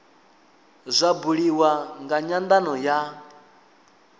zwa buliwa nga nyandano ya